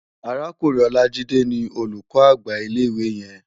Árákúrin Olajide ni ólúkò ágbá ilé iwé yèn